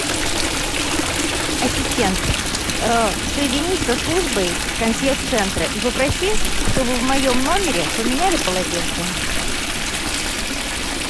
ассистент соединись со службой консьерж центра и попроси чтобы в моем номере поменяли полотенце